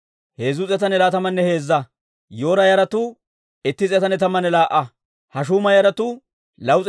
K'iriyaati-Yi'aariima, Kafiiranne Ba'eroota katamatuwaa Asay 743.